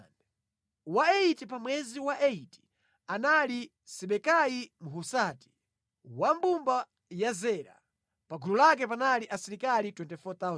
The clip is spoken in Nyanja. Wa 8 pa mwezi wa 8 anali Sibekai Mhusati, wa mbumba ya Zera. Pa gulu lake panali asilikali 24,000